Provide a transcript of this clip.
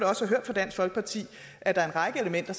også hørt fra dansk folkeparti at der er en række elementer